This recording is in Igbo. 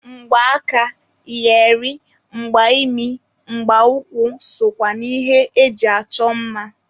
Mgba aka, iyeri, mgba imi, mgba ụkwụ sokwa na ihe eji achọ mma.